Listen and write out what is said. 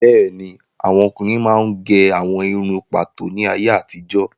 Bẹ́ẹ̀ni, àwọn ọkùnrin máa ń gẹ àwọn irun pàtó ní ayé àtijó